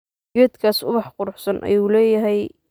Geedgas ubax kuruxsan ayu leyhy.